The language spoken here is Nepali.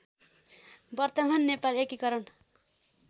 वर्तमान नेपाल एकीकरण